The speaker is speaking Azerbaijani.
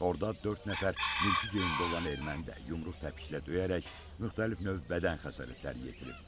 Orada dörd nəfər mülki geyimdə olan erməni də yumruq təpiklə döyərək müxtəlif növ bədən xəsarətləri yetirib.